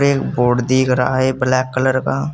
एक बोर्ड दिख रहा है ब्लैक कलर का।